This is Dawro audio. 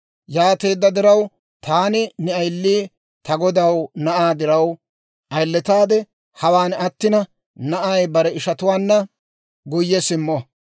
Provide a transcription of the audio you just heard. «Yaateedda diraw, taani ne ayili ta godaw na'aa diraw ayiletaade, hawaan attina, na'ay bare ishatuwaanna guyye simmo.